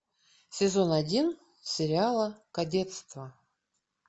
сезон один сериала кадетство